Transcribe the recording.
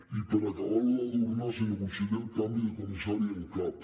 i per acabar ho d’adornar senyor conseller el canvi de comissari en cap